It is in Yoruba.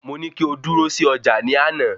Mo ní kí o dúró sí ọjà ní àná